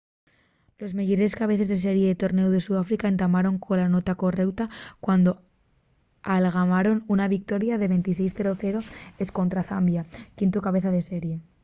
los meyores cabeces de serie del tornéu de sudáfrica entamaron cola nota correuta cuando algamaron una victoria 26 - 00 escontra zambia quintu cabeza de serie